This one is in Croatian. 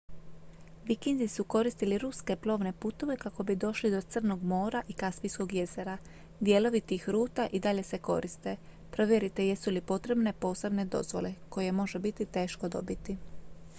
vikinzi su koristili ruske plovne putove kako bi došli do crnog mora i kaspijskog jezera dijelovi tih ruta i dalje se koriste provjerite jesu li potrebne posebne dozvole koje može biti teško dobiti